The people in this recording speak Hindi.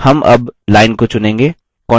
हम अब line को चुनेंगे